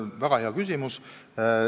Väga hea küsimus.